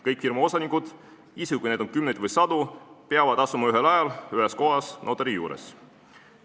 Kõik firma osanikud, isegi kui neid on kümneid või sadu, peavad asuma ühel ajal ühes kohas notari juures.